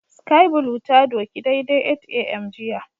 Sky blue ta doki daidai 8am jiya